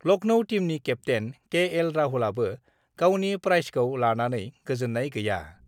लख्नौ टीमनि केप्तेन केएल राहुलआबो गावनि प्राइजखौ लानानै गोजोन्नाय गैया।